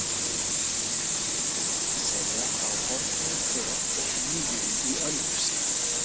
segja frá horfnum hver og nýjum í Ölfusi.